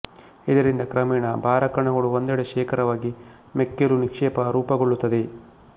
ಇದರಿಂದ ಕ್ರಮೇಣ ಭಾರಕಣಗಳು ಒಂದೆಡೆ ಶೇಖರವಾಗಿ ಮೆಕ್ಕಲು ನಿಕ್ಷೇಪ ರೂಪುಗೊಳ್ಳುತ್ತದೆ